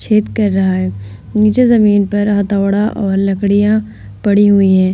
छेद कर रहा है नीचे जमीन पर हथोड़ा और लकड़ियां पड़ी हुई हैं।